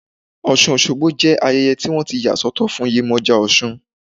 Osun osogbo jẹ́ ayẹyẹ tí wọ́n ti yà sọ́tọ̀ fún Yemoja osun.